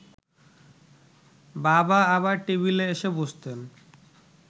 বাবা আবার টেবিলে এসে বসতেন